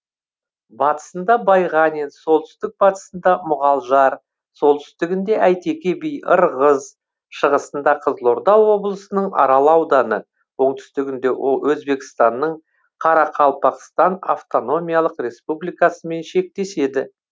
батысында байғанин солтүстік батысында мұғалжар солтүстігінде әйтеке би ырғыз шығысында қызылорда облысының арал ауданы оңтүстігінде өзбекстанның қарақалпақстан автономиялық республикасымен шектеседі